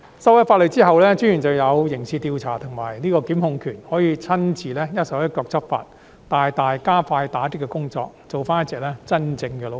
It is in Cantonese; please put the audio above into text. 法例修改後，私隱專員便有刑事調査及檢控權，可以親自一手一腳地執法，大大加快打擊工作，做回一隻真正的老虎。